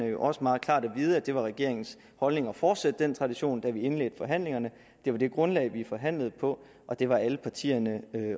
jo også meget klart at vide at det var regeringens holdning at fortsætte den tradition da vi indledte forhandlingerne det var det grundlag vi forhandlede på og det var alle partierne